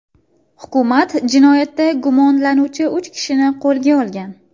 Hukumat jinoyatda gumonlanuvchi uch kishini qo‘lga olgan.